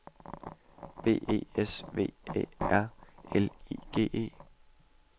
B E S V Æ R L I G E